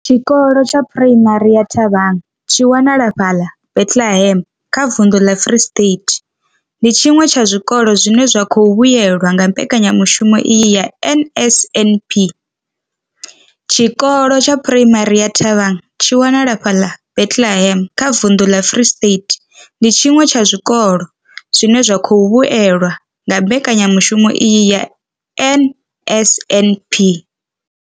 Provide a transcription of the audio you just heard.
Tshikolo tsha Phuraimari ya Thabang tshi wanalaho fhaḽa Bethlehem kha vunḓu ḽa Free State, ndi tshiṅwe tsha zwikolo zwine zwa khou vhuelwa nga mbekanyamushumo iyi ya NSNP. Tshikolo tsha Phuraimari ya Thabang tshi wanalaho fhaḽa Bethlehem kha vunḓu ḽa Free State, ndi tshiṅwe tsha zwikolo zwine zwa khou vhuelwa nga mbekanyamushumo iyi ya NSNP.